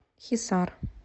хисар